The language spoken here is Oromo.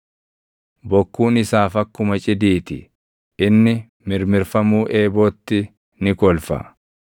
Bokkuun isaaf akkuma cidii ti; inni mirmirfamuu eebootti ni kolfa.